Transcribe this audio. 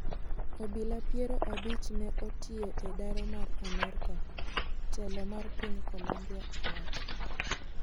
Obila piero abich ne otiyo e daro mar amerka, telo mar piny Colombia owacho.